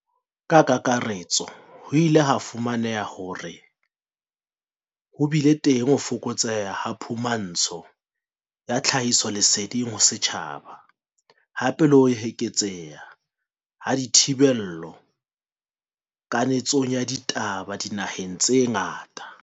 Ka kakaretso, ho ile ha fu maneha hore ho bile teng ho fokotseha ha phumantsho ya tlhahisoleseding ho setjhaba, hape le ho eketseha ha dithi bello kanetsong ya ditaba dinaheng tse ngata.